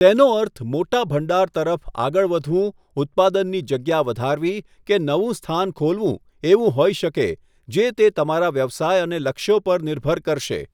તેનો અર્થ મોટા ભંડાર તરફ આગળ વધવું, ઉત્પાદનની જગ્યા વધારવી કે નવું સ્થાન ખોલવું એવું હોઇ શકે જે તે તમારા વ્યવસાય અને લક્ષ્યો પર નિર્ભર કરશે.